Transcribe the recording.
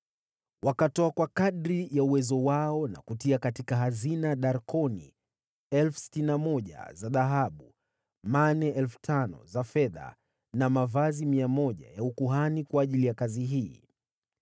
Wakatoa kwa kadiri ya uwezo wao na kutia katika hazina darkoni 61,000 za dhahabu, mane 5,000 za fedha, na mavazi 100 ya ukuhani kwa ajili ya kazi hiyo.